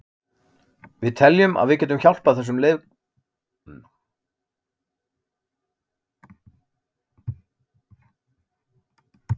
Við teljum að við getum hjálpað þessum leikmönnum, bæði innan vallar og utan hans.